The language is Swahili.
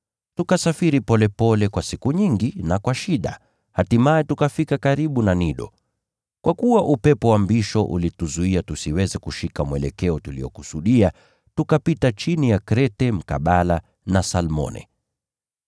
Tukasafiri polepole kwa siku nyingi na kwa shida, hatimaye tukafika karibu na Nido. Kwa kuwa upepo wa mbisho ulituzuia tusiweze kushika mwelekeo tuliokusudia, tukapita chini ya Krete mkabala na Salmone.